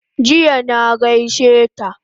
Jiya na gaishe ta